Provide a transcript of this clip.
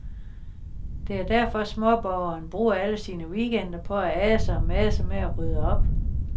Det er derfor småborgeren bruger alle sine weekender på at ase og mase med at rydde op.